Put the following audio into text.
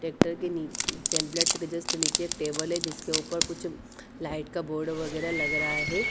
Tractor के नी template के जस्ट के नीचे एक टेबल है जिसके ऊपर कुछ लाइट का बोर्ड वगैरा लग रहा है।